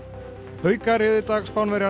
haukar réðu í dag